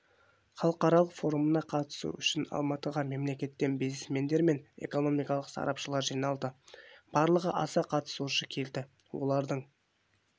халықаралық форумына қатысу үшін алматыға мемлекеттен бизнесмендер мен экономикалық сарапшылар жиналды барлығы аса қатысушы келді олардың